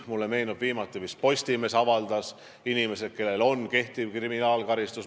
Mulle meenub, et viimati vist Postimees avaldas nimekirja nendest, kellel on kehtiv kriminaalkaristus.